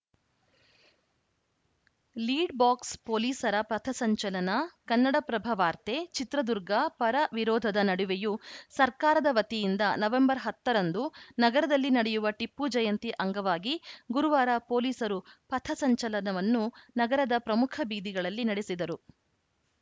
lead box ಪೊಲೀಸರ ಪಥಸಂಚಲನ ಕನ್ನಡಪ್ರಭವಾರ್ತೆ ಚಿತ್ರದುರ್ಗ ಪರ ವಿರೋಧದ ನಡುವೆಯೂ ಸರ್ಕಾರದ ವತಿಯಿಂದ ನವೆಂಬರ್‌ ಹತ್ತ ರಂದು ನಗರದಲ್ಲಿ ನಡೆಯುವ ಟಿಪ್ಪುಜಯಂತಿ ಅಂಗವಾಗಿ ಗುರುವಾರ ಪೊಲೀಸರು ಪಥಸಂಚಲನವನ್ನು ನಗರದ ಪ್ರಮುಖ ಬೀದಿಗಳಲ್ಲಿ ನಡೆಸಿದರು